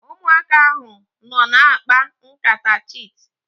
Ụmụaka ahu nọ na-akpa nkata chit